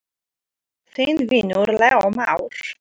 Þinn vinur, Leó Már.